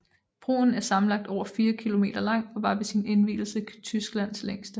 Broen er sammenlagt over 4 kilometer lang og var ved sin indvielse Tysklands længste